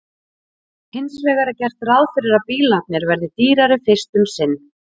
Hins vegar er gert ráð fyrir að bílarnir verði dýrari fyrst um sinn.